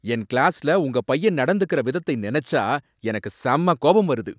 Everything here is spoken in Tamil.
என் கிளாஸ்ல உங்க பையன் நடந்துக்கற விதத்தை நினைச்சா எனக்கு செம்ம கோபம் வருது!